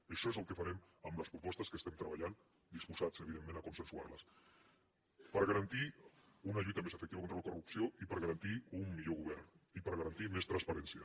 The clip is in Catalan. i això és el que farem amb les propostes que estem treballant disposats evidentment a consensuar les per garantir una lluita més efectiva contra la corrupció i per garantir un millor govern i per garantir més transparència